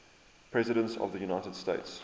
presidents of the united states